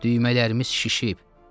düymələrimiz şişib.